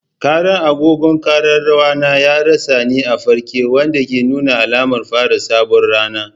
Ƙarar agogon ƙararrawa na ya ratsa ni a farke, wanda ke nuna alamar fara sabuwar rana.